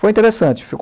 Foi interessante.